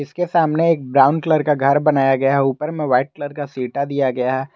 इसके सामने एक ब्राउन कलर का घर बनाया गया है ऊपर में व्हाइट कलर का सीटा दिया गया है।